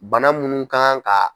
Bana munnu kan ka